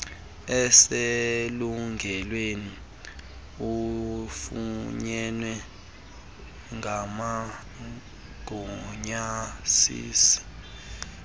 eselungelweni efunyenwe ngabagunyazisi